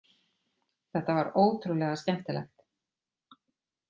Þetta var ótrúlega skemmtilegt